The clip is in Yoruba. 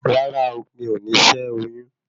Rárá o, mi ò ní ṣé oyún